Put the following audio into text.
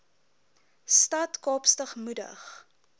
stad kaapstad moedig